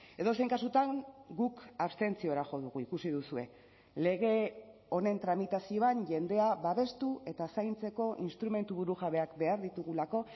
edozein kasutan guk abstentziora jo dugu ikusi duzue lege honen tramitazioan jendea babestu eta zaintzeko instrumentu burujabeak behar ditugulako